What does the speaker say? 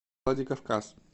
владикавказ